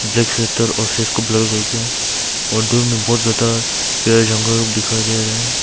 और फेस करके और दूर में बहुत ज्यादा पेड़ जंगल लोग दिखाई दे रहा है।